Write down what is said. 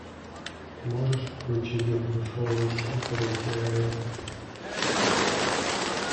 можешь включить грушевый сидр и сигареты